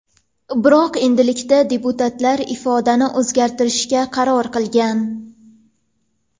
Biroq endilikda deputatlar ifodani o‘zgartirishga qaror qilishgan.